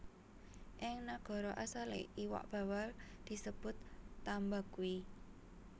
Ing nagara asalé iwak bawal disebut tambaqui